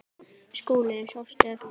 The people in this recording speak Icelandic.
SKÚLI: Sástu eftir því?